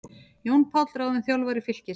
Jón Páll ráðinn þjálfari Fylkis